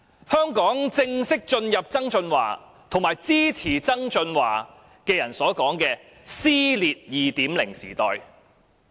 香港正式進入曾俊華及其支持者所說的"撕裂 2.0 時代"。